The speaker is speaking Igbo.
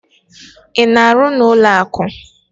Ị na-arụ n'ụlọakụ?